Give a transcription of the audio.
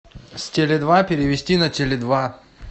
с теле два перевести на теле два